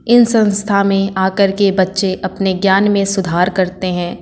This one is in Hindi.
इन संस्था मे आकर के बच्चे अपने ज्ञान मे सुधार करते है।